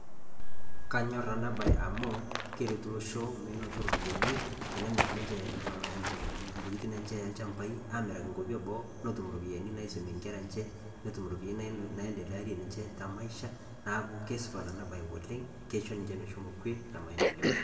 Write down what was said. Kanyor ena bae amuu, keretu losho menoto iropiyiani tenemir ninje, tokiting' enche oo ilchambai, amiraki ikwapi e boo, netum iropiyiani naisumie inkera enche, netum iropiyiani naiendelesha maisha enje neaku kasupat ena bae oleng 'keisho ninje meshome kwel e maendeleo